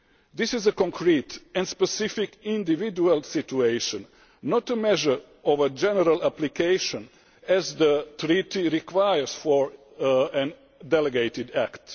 This is a concrete and specific individual situation, not a measure for general application as the Treaty requires for a delegated act.